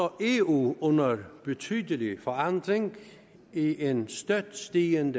eu under betydelig forandring i en støt stigende